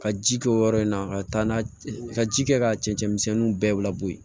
Ka ji kɛ o yɔrɔ in na ka taa n'a ye ka ji kɛ ka cɛncɛn misɛnninw bɛɛ labɔ yen